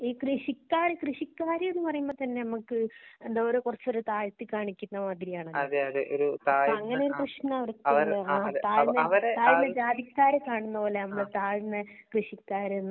ഈ കൃഷിക്കാര് കൃഷിക്കാര് ന്നു പറയുമ്പോ തന്നെ നമുക്ക് എന്താ പറയാ ഓരെ കുറച്ചു ഒരു താഴ്ത്തി കാണിക്കുന്ന മാതിരി ആണല്ലോ താഴ്ന്ന ജാതി ക്കാരെ കാണുന്ന പോലെയാ മ്മള് താഴ്ന്ന കൃഷിക്കാര് ന്നൊക്കെ